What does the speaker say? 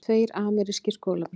Tveir amerískir skólabræður